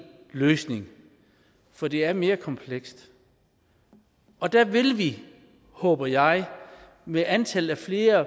løsning for det er mere komplekst og der vil vi håber jeg med antallet af flere